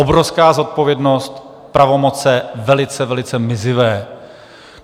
Obrovská zodpovědnost, pravomoce velice, velice mizivé.